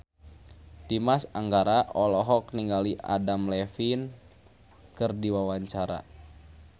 Dimas Anggara olohok ningali Adam Levine keur diwawancara